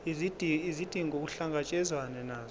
izidingo kuhlangatshezwane nazo